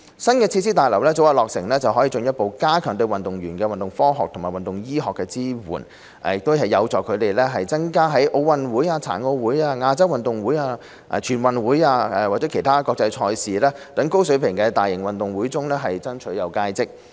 新設施大樓早日落成，可以進一步加強對運動員的運動科學和運動醫學支援。這有助增加他們在奧運會、殘奧會、亞洲運動會、全運會或其他國際賽事等高水平大型運動會中爭取佳績。